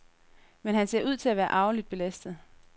Men han ser ud til at være arveligt belastet.